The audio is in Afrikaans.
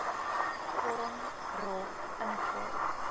vorm ro invul